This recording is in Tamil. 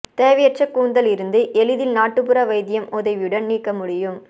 தேவையற்ற கூந்தல் இருந்து எளிதில் நாட்டுப்புற வைத்தியம் உதவியுடன் நீக்க முடியும்